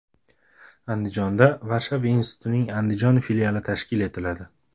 Andijonda Varshava institutining Andijon filiali tashkil etiladi.